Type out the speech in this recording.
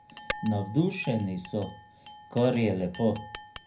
Navdušeni so, kar je lepo.